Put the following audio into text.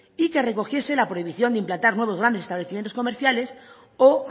y que recogiese la prohibición de implantar nuevos grandes establecimientos comerciales o